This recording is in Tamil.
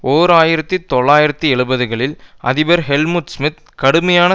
ஓர் ஆயிரத்தி தொள்ளாயிரத்து எழுபதுகளில் அதிபர் ஹெல்முட் ஷிமித் கடுமையான